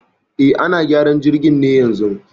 E, ana gyaran jirgin ne yanzun